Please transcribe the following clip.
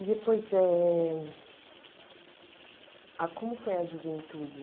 E depois, eh a como foi a juventude?